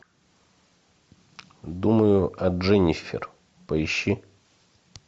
думаю о дженнифер поищи